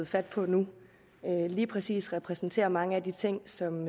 fat på nu lige præcis repræsenterer mange af de ting som